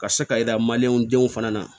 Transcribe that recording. Ka se ka yira denw fana na